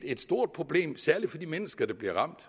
et stort problem særlig for de mennesker der bliver ramt